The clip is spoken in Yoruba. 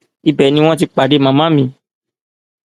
ibẹ ni wọn ti pàdé màmá mi